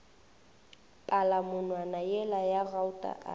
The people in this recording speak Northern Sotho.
palamonwana yela ya gauta a